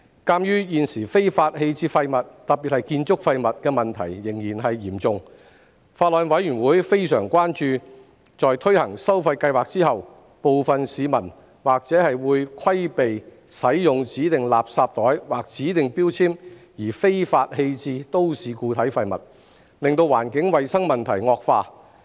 鑒於現時非法棄置廢物的問題仍然嚴重，法案委員會非常關注在推行收費計劃後，部分市民或會規避使用指定垃圾袋或指定標籤而非法棄置都市固體廢物，令環境衞生問題惡化。